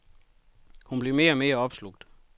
Hun blev mere og mere opslugt.